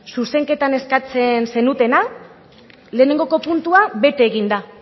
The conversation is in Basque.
zuzenketan eskatzen zenutena lehenengoko puntua bete egin da